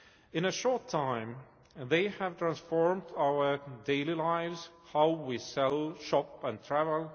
In a short time, they have transformed our daily lives how we sell, shop and travel